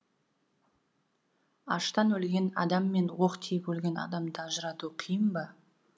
аштан өлген адам мен оқ тиіп өлген адамды ажырату қиын ба